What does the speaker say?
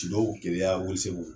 Keleya Welesebugu.